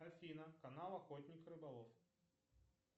афина канал охотник рыболов